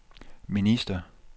minister